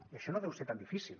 i això no deu ser tan difícil